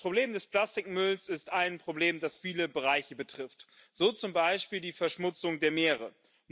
Das Problem des Plastikmülls ist ein Problem, das viele Bereiche betrifft, so zum Beispiel die Verschmutzung der Meere.